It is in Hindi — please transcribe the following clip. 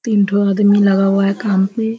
तीन ठो अदमी लगा हुआ है काम पे।